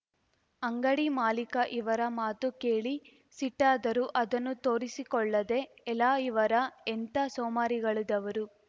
ಅಂಗಡಿ ಮಾಲೀಕ ಇವರ ಮಾತು ಕೇಳಿ ಸಿಟ್ಟಾದರೂ ಅದನ್ನು ತೋರಿಸಿಕೊಳ್ಳದೆ ಎಲಾ ಇವರಾ ಎಂಥಾ ಸೋಮಾರಿಗಳಿದವರು